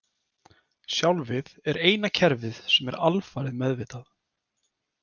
Sjálfið er eina kerfið sem er alfarið meðvitað.